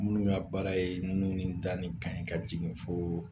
Minnu ka baara ye nun ni da ni kan ye ka jigin fo